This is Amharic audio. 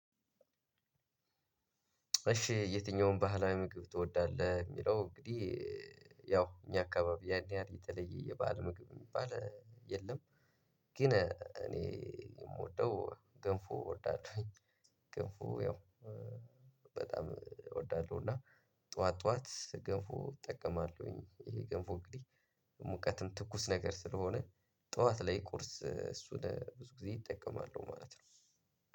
እሺ የትኛውን ባህላዊ ምግብ ትወዳለህ የሚለው እንግዲህ? ያው እኛ አካባቢ ያን ያህል የተለየ የባህል ምግብ የሚባል የለም። ግን እኔ የምወደው ገንፎ እወዳለሁኝ። ገንፎ ያው በጣም እወዳለሁ። እና ጠዋት ጠዋት ገንፎ እጠቀማለሁኝ። ይሄ ገንፎ እንግዲህ ሙቀትም ትኩስ ነገር ስለሆነ ጠዋት ላይ ቁርስ እሱን ብዙ ጊዜ እጠቀማለሁ ማለት ነው።